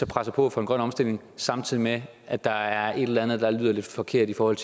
presser på for en grøn omstilling samtidig med at der er et eller andet der lyder lidt forkert i forhold